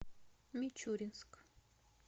мичуринск